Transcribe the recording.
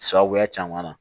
Sababuya caman na